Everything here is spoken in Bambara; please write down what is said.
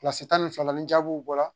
Kilasi tan ni fila ni jaabiw bɔra